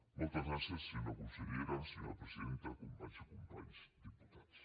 moltes gràcies senyora consellera senyora presidenta companys i companyes diputats